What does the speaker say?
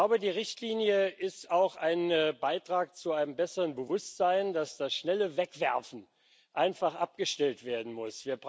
Ich glaube, die Richtlinie ist auch ein Beitrag zu einem besseren Bewusstsein, dass das schnelle Wegwerfen einfach abgestellt werden muss.